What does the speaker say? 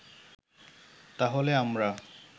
তাহলে আমরা